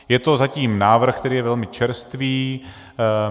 Je to zatím návrh, který je velmi čerstvý.